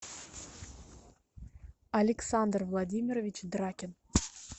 александр владимирович дракин